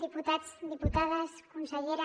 diputats diputades consellera